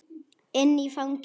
Inn í fangið.